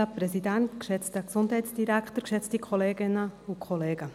Kommissionssprecherin der GSoK.